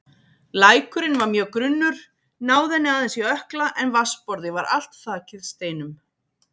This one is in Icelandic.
Lækurinn var mjög grunnur, náði henni aðeins í ökkla en vatnsborðið var allt þakið steinum.